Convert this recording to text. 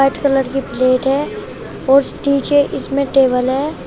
White colour कि plate है और नीचे इसमें टेबल है।